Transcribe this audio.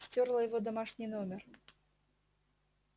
стёрла его домашний номер